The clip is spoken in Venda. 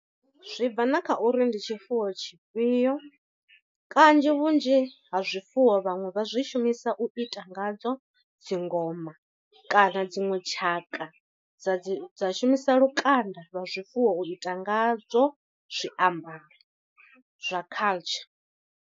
Zwi bva na kha uri ndi tshifuwo tshifhio, kanzhi vhunzhi ha zwifuwo vhaṅwe vha zwi shumisa u ita ngadzo dzi ngoma, kana dziṅwe tshaka dza dzi dza shumisa lukanda lwa zwifuwo u ita ngadzo zwiambaro zwa culture.